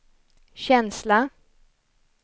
känsla